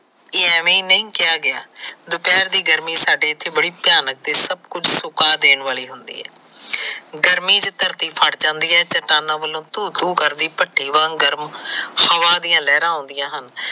ਇਹ ਐਮੇ ਨਈ ਕਿਹਾ ਗਿਆ ਦੁਪਿਹਰ ਦੀ ਗਰਮੀ ਸਾਡੇ ਇਥੇ ਬੜੀ ਭਿਆਨਕ ਤੇ ਸੱਭ ਕੁਝ ਸੁਕਾ ਦੇਣ ਵਾਲੀ ਹੁੰਦੀ ਹੈ। ਗਰਮੀ ਵਿੱਚ ਧਰਤੀ ਫੱਟ ਜਾਂਦੀ ਏ ਤੇ ਧੁਹ ਧੁਹ ਕਰਦੀ ਭੱਟੀ ਵਾਂਗ ਗਰਮ ਹਵਾ ਦੀ ਲਹਿਰਾ ਆਉੰਦੀਆਂ ਹਨ।